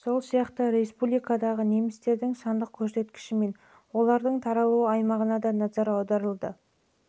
сол сияқты республикамыздағы немістердің сандық көрсеткіші мен олардың таралу аймағына да назар аударылды